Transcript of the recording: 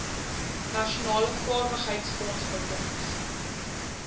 nasionale vaardigheidsfonds befonds